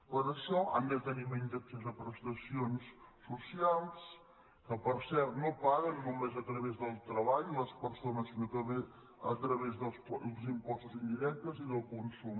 per això han de tenir menys accés a prestacions socials que per cert no paguen només a través del treball les persones sinó també a través dels impostos indirectes i del consum